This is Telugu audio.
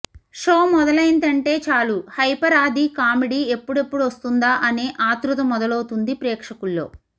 షో మొదలైందంటే చాలు హైపర్ ఆది కామెడీ ఎప్పుడెప్పుడొస్తుందా అనే ఆతృత మొదలవుతుంది ప్రేక్షకుల్లో